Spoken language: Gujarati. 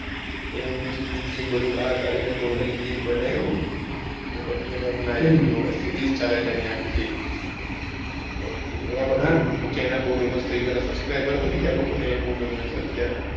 એનું engine બધું બાર કાઢીને totalengine બનાવ્યું પછી series ચાલે છે એની આખી આહ એના પછી channel બૌ famous થઇ ગયી subscriber વધી ગયા છે એ બૌ ગમે છે બધા ને અત્યરે,